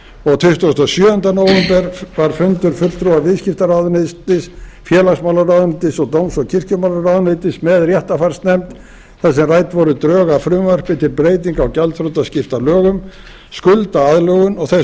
og tuttugasta og sjöunda nóvember var fundur fulltrúa viðskiptaráðuneytis félagsmálaráðuneytis og dóms og kirkjumálaráðuneytis með réttarfarsnefnd þar sem rædd voru drög að frumvarpi til breytinga á gjaldþrotaskiptalögum skuldaaðlögun og þess óskað